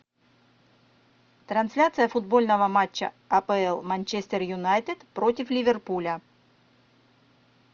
трансляция футбольного матча апл манчестер юнайтед против ливерпуля